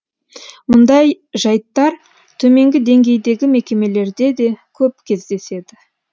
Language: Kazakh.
мұндай жайттар төменгі деңгейдегі мекемелерде де көп кездеседі